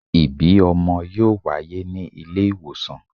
Ibi ọmọ yoo waye ni ile iwosan